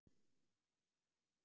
Vilja endurbyggja suður